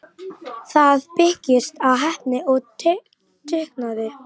Það byggist á heppni og dugnaði.